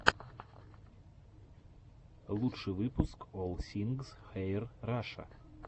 лучший выпуск олл сингс хэир раша